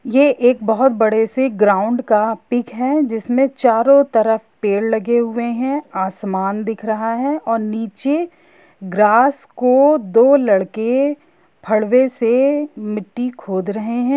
यह एक बहुत बड़े से ग्राउड का पिक है जिसमें चारो तरफ पेड़ लगे हुए है आसमान दिख रहा है। और नीचे ग्रास को दो लड़के फवड़े से मिट्टी खोद रहे है यह--